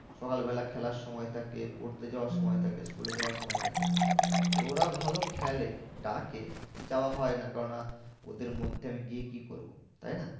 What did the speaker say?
সকালবেলা খেলার সময় থাকে পড়তে যাওয়ার সময় থাকে school এ যাওয়ার সময় থাকে। তো ওরা ভালো খেলে ডাকে যাওয়া হয় না কেন না ওদের মধ্যে আমি গিয়ে কি করবো? তাই না